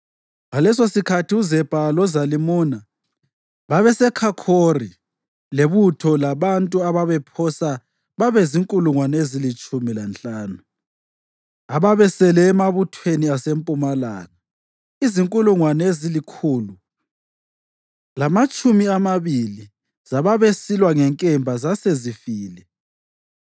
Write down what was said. Ngalesosikhathi uZebha loZalimuna babeseKhakhori lebutho labantu ababephosa babe zinkulungwane ezilitshumi lanhlanu, ababesele emabuthweni asempumalanga; izinkulungwane ezilikhulu lamatshumi amabili zababesilwa ngenkemba zasezifile.